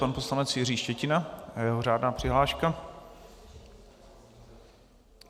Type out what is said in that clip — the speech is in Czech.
Pan poslanec Jiří Štětina a jeho řádná přihláška.